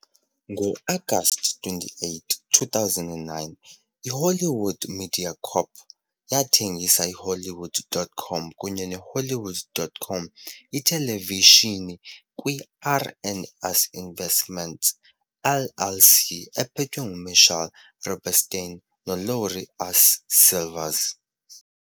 Ngo-Agasti 28, 2009, iHollywood Media Corp. yathengisa iHollywood.com kunye neHollywood.com iTelevishini kwiR and S Investments, LLC, ephethwe nguMitchell Rubenstein noLaurie S. Silvers.